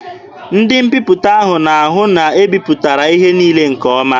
Ndị mbiputa ahụ na-ahụ na e bipụtara ihe niile nke ọma.